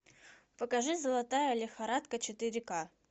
покажи золотая лихорадка четыре к